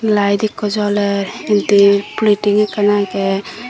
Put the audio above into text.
light ekku joler indi plating ekkan age.